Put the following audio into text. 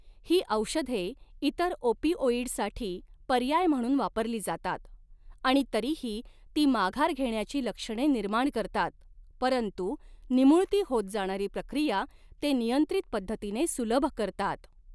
ही औषधे इतर ओपिओइडसाठी पर्याय म्हणून वापरली जातात आणि तरीही ती माघार घेण्याची लक्षणे निर्माण करतात, परंतु निमुळती होत जाणारी प्रक्रिया ते नियंत्रित पद्धतीने सुलभ करतात.